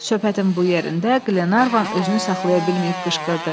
Söhbətin bu yerində Qlenarvan özünü saxlaya bilməyib qışqırdı.